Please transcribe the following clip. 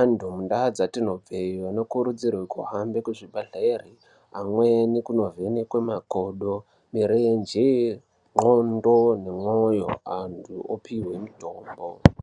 Antu mundaa dzatinobve anokurudzirwa kuhambe kuzvibhedhlere, amweni kunovhenekwe makodo, mirenje, ndxondo nemwoyo, antu opihwe mitombo.